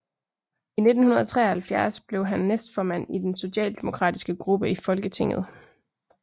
I 1973 blev han næstformand i den socialdemokratiske gruppe i Folketinget